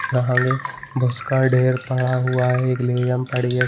अहांगे भूस का ढेर पड़ा हुआ है एक लेयम पड़ी हैं ।